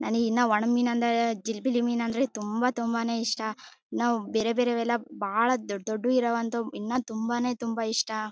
ನನಗಿನ್ನ ಒಣಮೀನು ಅಂದ್ರೆ ಜಿಲಿಬಿಲಿ ಮೀನ ಅಂದ್ರೆ ತುಂಬಾ ತುಂಬಾ ಇಷ್ಟನಾವು ಬೇರೆ ಬೇರೆವೆಲ್ಲಾ ಬಾಳ್ ದೊಡ್ಡ ದೊಡ್ಡ ಇರುವಂತವು ಇನ್ನತುಂಬಾನೇ ತುಂಬಾ ಇಷ್ಟ.